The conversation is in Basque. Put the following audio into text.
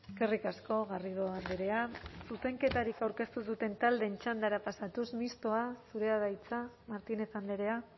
eskerrik asko garrido andrea zuzenketarik aurkeztu ez duten taldeen txandara pasatuz mistoa zurea da hitza martínez andrea